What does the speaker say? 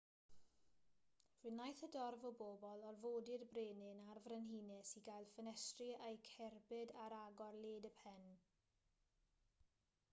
fe wnaeth y dorf o bobl orfodi'r brenin a'r frenhines i gael ffenestri eu cerbyd ar agor led y pen